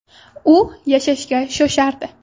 U yashashga shoshardi.